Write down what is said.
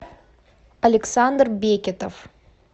александр бекетов